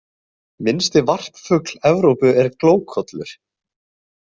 Minnsti varpfugl Evrópu er glókollur.